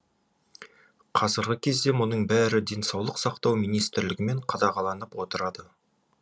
қазіргі кезде мұның бәрі денсаулық сақтау министрлігімен қадағаланып отырады